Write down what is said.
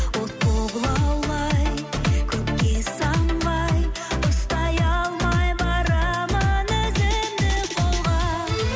от болып лаулай көкке самғай ұстай алмай барамын өзімді қолға